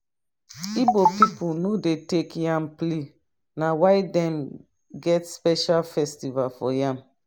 igbo pipo no dey take yam play na why dem get special festival for yam